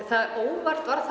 óvart varð